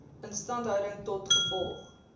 instandhouding tot gevolg